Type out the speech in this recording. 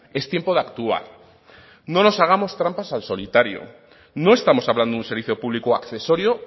es tiempo de actuar no nos hagamos trampas al solitario no estamos hablando de un servicio público accesorio